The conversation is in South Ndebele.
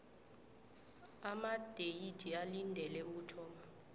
amadeyithi olindele ukuthoma